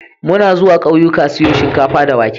Muna zuwa ƙauyika siyo shinkafa da wake.